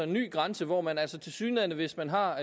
ny grænse hvor man altså tilsyneladende hvis man har